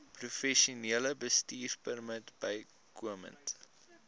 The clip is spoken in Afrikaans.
professionele bestuurpermit bykomend